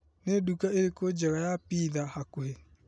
Nĩ nduka ĩrĩkũ njega ya pitha hakuhĩ ?